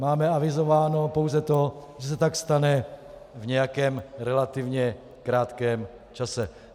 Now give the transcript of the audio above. Máme avizováno pouze to, že se tak stane v nějakém relativně krátkém čase.